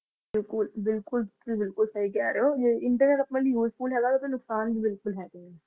ਬਿਲਕੁਲ-ਬਿਲਕੁਲ ਤੁਸੀ ਬਿਲਕੁਲ ਸਹੀ ਕਹਿ ਰਹੇ ਹੋ useful ਹੈਗਾ ਉਹ ।